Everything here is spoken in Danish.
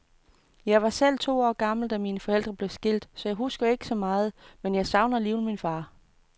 Jeg var selv to år gammel, da mine forældre blev skilt, så jeg husker ikke så meget, men jeg savner jo alligevel min far.